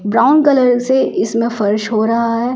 Brown colour से इसमें फर्श हो रहा है ।